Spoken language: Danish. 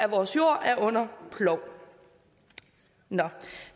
vores jord er under plov